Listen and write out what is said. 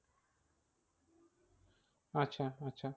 আচ্ছা আচ্ছা